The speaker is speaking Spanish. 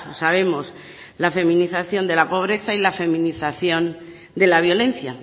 sabemos la feminización de la pobreza y la feminización de la violencia